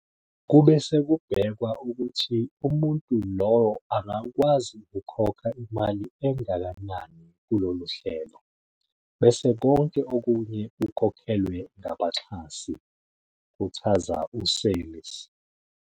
Kube sekubhekwa ukuthi umuntu lowo angakwazi ukukhokha imali engakanani kulolu hlelo, bese konke okunye kukhokhelwe ngabaxhasi," kuchaza u-Seirlis.